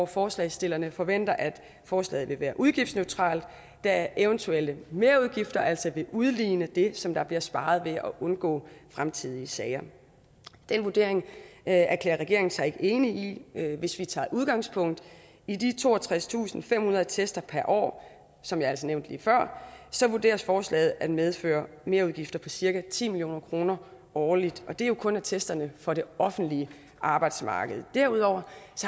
forslagsstillerne forventer at forslaget vil være udgiftsneutralt da eventuelle merudgifter altså vil udligne det som der bliver sparet ved at undgå fremtidige sager den vurdering erklærer regeringen sig ikke enig i hvis vi tager udgangspunkt i de toogtredstusinde og femhundrede attester per år som jeg altså nævnte lige før så vurderes forslaget at medføre merudgifter på cirka ti million kroner årligt og det jo kun attesterne for det offentlige arbejdsmarked derudover